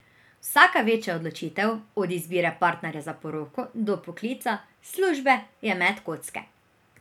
Vsaka večja odločitev, od izbire partnerja za poroko do poklica, službe, je met kocke.